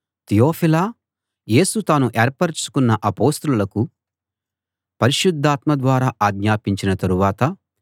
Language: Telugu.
తియొఫిలా యేసు తాను ఏర్పరచుకున్న అపొస్తలులకు పరిశుద్ధాత్మ ద్వారా ఆజ్ఞాపించిన తరువాత